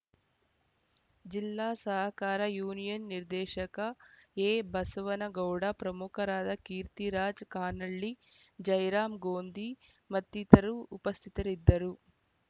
ಜಿಲ್ಲಾ ಸಹಕಾರ ಯೂನಿಯನ್‌ ನಿರ್ದೇಶಕ ಎಬಸವನಗೌಡ ಪ್ರಮುಖರಾದ ಕೀರ್ತಿರಾಜ್‌ ಕಾನಳ್ಳಿ ಜಯರಾಮ್‌ ಗೋಂಧಿ ಮತ್ತಿತರರು ಉಪಸ್ಥಿತರಿದ್ದರು